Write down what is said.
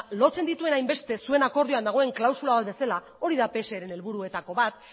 lotzen dituena hainbeste zuen akordioan dagoen klausula bat bezala hori pseren helburuetako bat